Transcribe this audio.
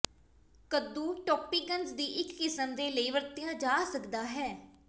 ਕੱਦੂ ਟੌਪਿੰਗਜ਼ ਦੀ ਇੱਕ ਕਿਸਮ ਦੇ ਲਈ ਵਰਤਿਆ ਜਾ ਸਕਦਾ ਹੈ